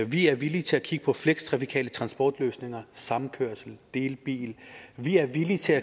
vi er villige til at kigge på flextrafikale transportløsninger samkørsel og delebiler vi er villige til